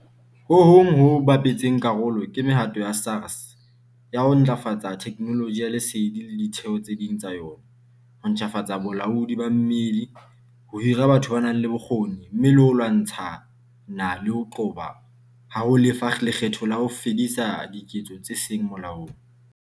Ho hong ho bapetseng karolo ke mehato ya SARS ya ho ntlafatsa theknoloji ya lesedi le ditheo tse ding tsa yona, ho ntjhafatsa bolaodi ba mmedi, ho hira batho ba nang le bokgoni, mme le ho lwantshana le ho qoba ha ho lefa lekgetho le ho fedisa diketso tse seng molaong.